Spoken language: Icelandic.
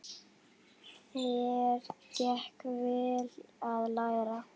Þér gekk vel að læra.